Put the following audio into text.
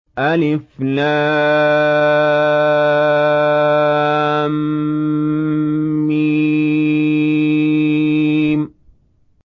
الم